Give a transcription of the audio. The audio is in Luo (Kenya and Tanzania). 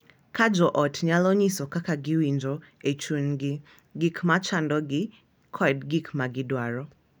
Ka jo ot nyalo nyiso kaka giwinjo e chunygi, gik ma chandogi, kod gik ma gidwaro,